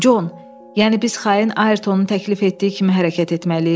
Con, yəni biz xain Aytonun təklif etdiyi kimi hərəkət etməliyik?